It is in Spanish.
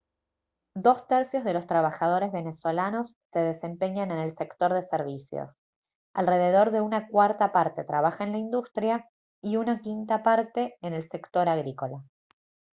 dos tercios de los trabajadores venezolanos se desempeñan en el sector de servicios alrededor de una cuarta parte trabaja en la industria y una quinta parte en el sector agrícola